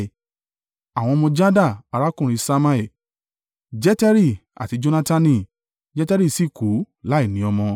Àwọn ọmọ Jada, arákùnrin Ṣammai: Jeteri àti Jonatani. Jeteri sì kú láìní ọmọ.